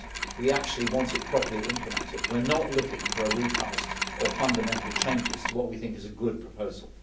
We actually want it to be properly implemented. We are not looking for a recast or fundamental changes to what we think is a good proposal.